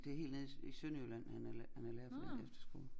Det helt nede i Sønderjylland han er han er lærer på en efterskole